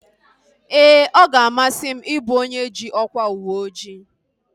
Ee, ọ ga-amasị m ị bụ onye ji ọkwa uweojii